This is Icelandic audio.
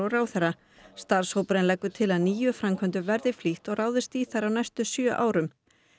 ráðherra starfshópurinn leggur til að níu framkvæmdum verði flýtt og ráðist verði í þær á næstu sjö árum